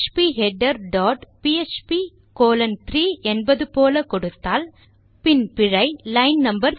feeder dot PHP colon 3 என்பது போல கொடுத்தால் பின் பிழை லைன் நோ